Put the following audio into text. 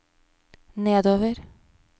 nedover